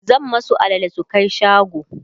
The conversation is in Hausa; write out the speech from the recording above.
zan masu alale su Kai shago